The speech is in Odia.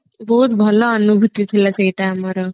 ବହୁତ ଭଲ ଅନୁଭୂତି ଥିଲା ସେଇଟା ଆମର